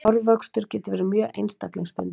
Hárvöxtur getur verið mjög einstaklingsbundinn.